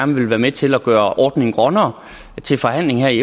vil være med til at gøre ordningen grønnere til forhandling her i